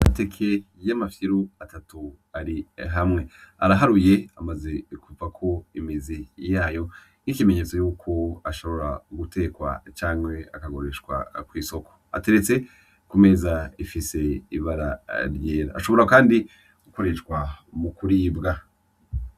Amateke yamafyiru atatu ari hamwe araharuye amaze kuvako imizi yayo nkikimenyetso yuko ashobora gutekwa canke akagurishwa kwisoko ateretse ku meza ifise ibara ryera ashobora kandi mugukoreshwa mukuribga .